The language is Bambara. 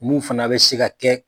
Mun fana bɛ se ka kɛ.